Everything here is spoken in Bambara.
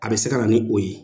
A bɛ se ka na ni o ye.